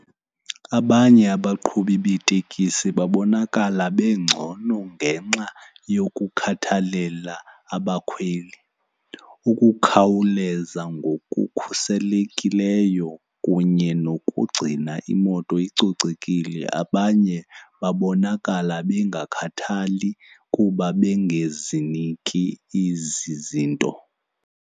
Abanye abaqhubi beetekisi babonakala bengcono ngenxa yokukhathalela abakhweli, ukukhawuleza ngokukhuselekileyo kunye nokugcina imoto icocekile. Abanye babonakala bengakhathali kuba bengeziniki ezi zinto.